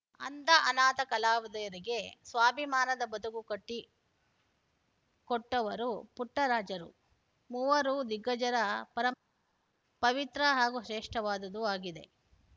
ಅಂಧ ಅನಾಥ ಕಲಾವಿದರಿಗೆ ಸ್ವಾಭಿಮಾನದ ಬದುಕು ಕಟ್ಟಿಕೊಟ್ಟವರು ಪುಟ್ಟರಾಜರು ಮೂವರೂ ದಿಗ್ಗಜರ ಪರಂ ಪವಿತ್ರ ಹಾಗೂ ಶ್ರೇಷ್ಟವಾದುದೂ ಆಗಿದೆ